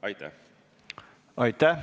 Aitäh!